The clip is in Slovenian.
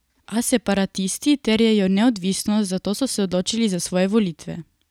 A separatisti terjajo neodvisnost, zato so se odločili za svoje volitve.